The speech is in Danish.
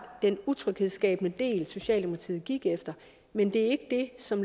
den utryghedsskabende del socialdemokratiet gik efter men det er ikke det som